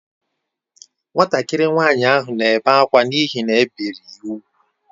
Nwatakịrị nwanyị ahụ na-ebe akwa n’ihi na e biri ya úgwù